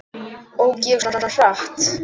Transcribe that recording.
Ók ég svona hratt?